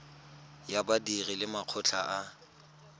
ya badiri le makgotla a